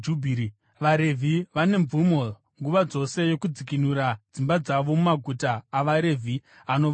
“ ‘VaRevhi vane mvumo nguva dzose yokudzikinura dzimba dzavo mumaguta avaRevhi, anova avo.